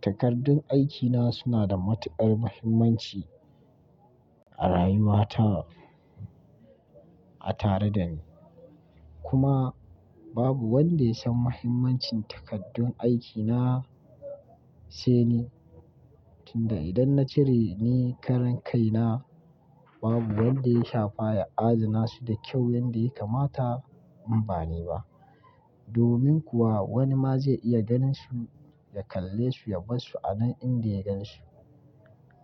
Takardun aikina suna da matuƙar muhimmanci a rayuwa ta, a tare dani. Kuma babu wanda ya san muhimmancin takaddun aikina sai ni. Tunda idan na cire ni karan kai na babu wanda ya shafa ya adana su da kyau yanda ya kamata in ba ni ba. Domin kuwa wani ma zai iya ganin su, ya kalle su ya bar su a nan inda ya gan su.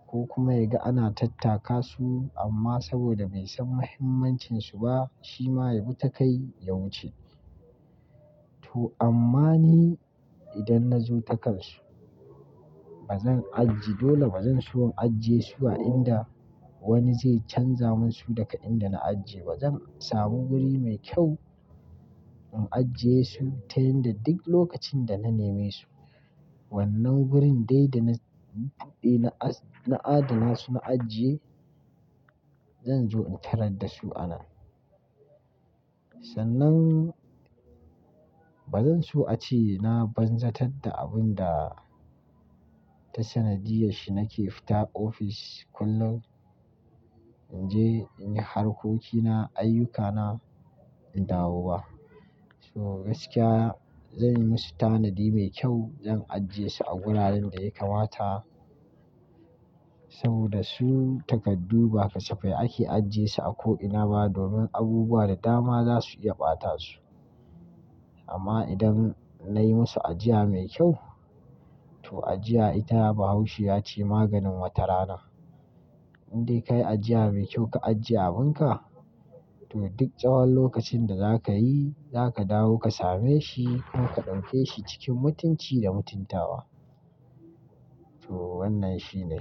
Ko kuma ya ga ana tattaka su amma saboda bai san muhimmancin su ba shi ma ya bi takai ya wuce. To amma ni idan na zo takan su, bazan ajiye dole bazan so in ajiye su a inda wani zai canza mun su daga inda na ajiye ba. Zan samu guri mai kyau in ajiye su ta yanda duk lokacin da na neme su wannan gurin dai da na, na, na adana su na ajiye zan zo in tarar da su a nan. Sannan bazan so a ce na banzatar da abun da ta sanadiyar shi nake fita ofis kullum in je in yi harkokina, ayyukana, in dawo ba. So gaskiya zan yi musu tanadi mai kyau, zan ajiye su a wuraren da ya kamata saboda su takardu ba kasafai ake ajiye su a ko ina ba domin abubuwa da dama za su iya ɓata su. Amma idan nayi musu ajiya mai kyau to ajiya ita bahaushe ya ce maganin wata rana. Indai ka yi ajiya mai kyau ka ajiye abunka to duk tsawon lokacin da zaka yi zaka dawo ka same shi kuma ka ɗauke shi cikin mutunci da mutuntawa. To wannan shi ne.